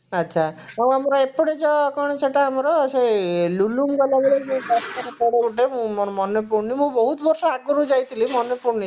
ଆଛା ଆଉ ଆମର ଏପଟେ ଯଉ କଣ ସେଇଟା ଆମର ସେ ଲୁଲୁମ ଗଲା ବେଳେ ଯଉ ରାସ୍ତାରେ ପଡେ ଗୋଟେ ମୋର ମନେ ପଡୁଣୀ ମୁଁ ବହୁତ ବର୍ଷ ଆଗରୁ ଯାଇଥିଲି ମାନେ ପଡୁନି ସେଇଟା